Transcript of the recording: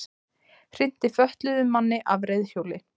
Hrinti fötluðum manni af reiðhjóli